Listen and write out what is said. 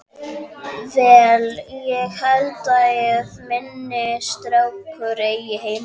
Vel, hér held ég að minn strákur eigi heima.